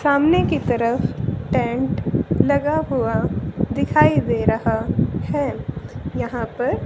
सामने की तरफ टेंट लगा हुआ दिखाई दे रहा है यहां पर--